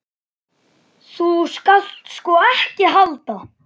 Þú skalt sko ekki halda.